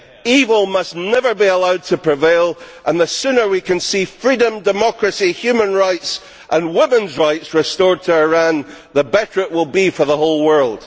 Evil must never be allowed to prevail, and the sooner we can see freedom, democracy, humanity and women's rights restored to Iran, the better it will be for the whole world.